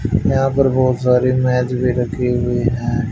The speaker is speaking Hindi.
यहां पर बहोत सारी मैज भी रखी हुई हैं।